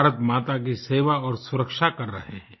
भारतमाता की सेवा और सुरक्षा कर रहें हैं